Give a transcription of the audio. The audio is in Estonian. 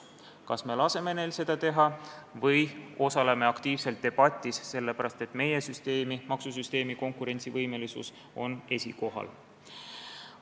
Kas me laseme neil seda teha või osaleme aktiivselt debatis, sest meie maksusüsteemi konkurentsivõimelisus on esikohal?